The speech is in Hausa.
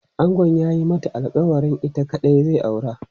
Angon ya yi mata alkawarin ita kaɗai zai aura.